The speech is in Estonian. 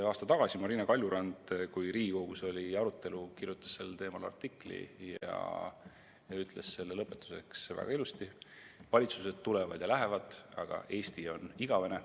Aasta tagasi Marina Kaljurand, kui Riigikogus oli arutelu, kirjutas sel teemal artikli ja ütles selle lõpetuseks väga ilusasti: "Valitsused tulevad ja lähevad, aga Eesti on igavene.